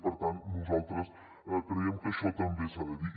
i per tant nosaltres creiem que això també s’ha de dir